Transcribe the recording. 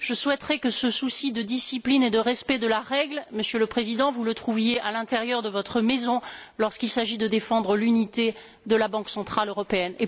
Je souhaiterais que ce souci de discipline et de respect de la règle, Monsieur le Président, vous le trouviez à l'intérieur de votre Maison lorsqu'il s'agit de défendre l'unité de la Banque centrale européenne.